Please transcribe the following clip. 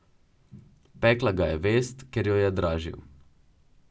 Pekla ga je vest, ker jo je dražil.